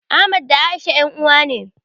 Ahmad da A'isha ƴan uwa ne.